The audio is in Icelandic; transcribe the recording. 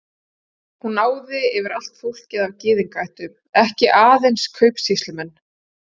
Hún náði yfir allt fólk af gyðingaættum, ekki aðeins kaupsýslumenn.